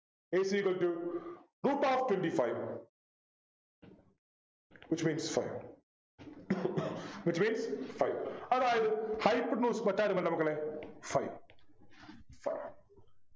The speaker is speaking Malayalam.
a c equal to root of twenty five Which means five Which means five അതായത് Hypotenuse മറ്റാരുമല്ല മക്കളെ five five